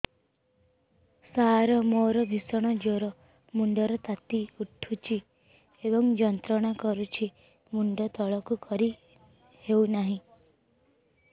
ସାର ମୋର ଭୀଷଣ ଜ୍ଵର ମୁଣ୍ଡ ର ତାତି ଉଠୁଛି ଏବଂ ଯନ୍ତ୍ରଣା କରୁଛି ମୁଣ୍ଡ ତଳକୁ କରି ହେଉନାହିଁ